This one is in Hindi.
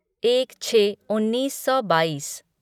एक छः उन्नीस सौ बाईस